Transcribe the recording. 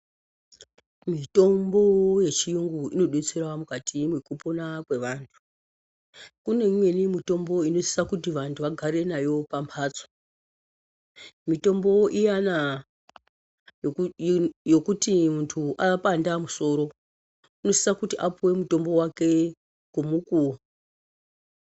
Mitombo yechiyungu inodetsera mukati mekupona kuvanhu, kune imweni mitombo inosisa kuti vantu vagare nayo pamhatso, mitombo iyana yekuti munhu apanda musoro inosisa kuti aipuwe mutombo wake ngomukuwo.